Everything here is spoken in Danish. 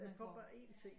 Man får bare 1 ting